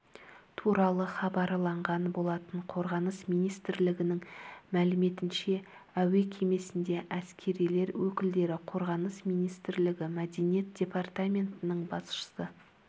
туралы хабарланған болатын қорғаныс министрлігінің мәліметінше әуе кемесінде әскерилер өкілдері қорғаныс министрлігі мәдениет департаментінің басшысы